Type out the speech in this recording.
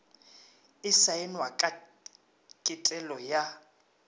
e saenwa ka ketelo ya